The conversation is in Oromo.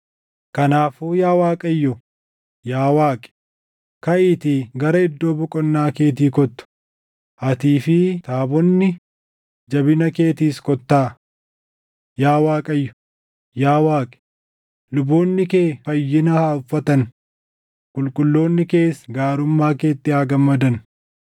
“Kanaafuu yaa Waaqayyo, yaa Waaqi, kaʼiitii gara iddoo boqonnaa keetii kottu; atii fi taabonni jabina keetiis kottaa. Yaa Waaqayyo, yaa Waaqi, luboonni kee fayyina haa uffatan; qulqulloonni kees gaarummaa keetti haa gammadan.